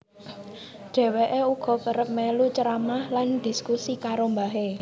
Dheweke uga kerep melu ceramah lan dhiskusi karo mbahe